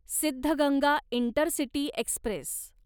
Siddaganga intercity Express